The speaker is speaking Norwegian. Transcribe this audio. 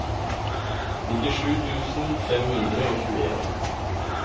nittisju tusen fem hundre og tjueen